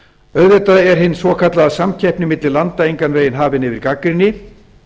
auðvitað er hin svokallaða samkeppni milli landa engan veginn hafin yfir gagnrýni